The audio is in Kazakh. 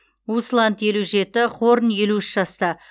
усланд елу жеті хорн елу үш жаста